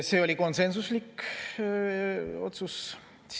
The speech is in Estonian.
See oli konsensuslik otsus.